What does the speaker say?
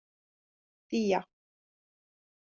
Día